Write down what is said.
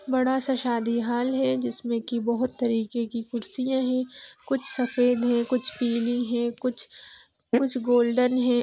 बड़ा सा शादी हॉल है जिसमें की बहुत तरीके की कुर्सियां है कुछ सफेद है कुछ पीली है कुछ कुछ गोल्डन है।